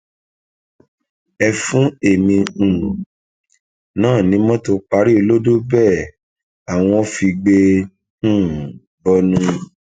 ẹ fún èmi um náà ní mọtò parí olódóbẹẹ àwọn figbe um bọnu